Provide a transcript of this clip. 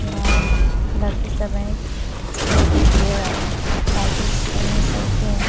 बाहर लड़के सब है। दो तीन पेड़ हैं। साइकिल से हैं। सड़के हैं।